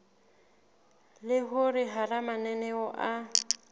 le hore hara mananeo a